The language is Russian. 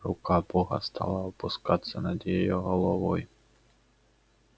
рука бога стала опускаться над её головой